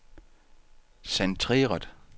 centreret